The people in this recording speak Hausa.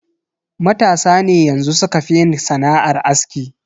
Matasa ne yanxu sukafi yin sana'ar aski.